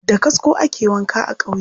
Da kasko ake wanka a ƙauye.